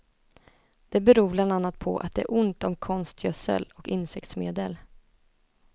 Det beror bland annat på att det är ont om konstgödsel och insektsmedel.